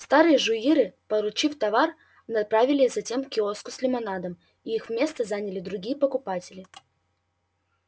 старые жуиры получив товар направились затем к киоску с лимонадом и их место заняли другие покупатели